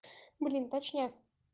блин точняк